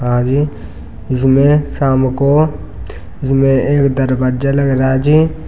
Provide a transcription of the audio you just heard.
आगे इनमें शाम को इसमें एक दरवाजा लग रहा जी--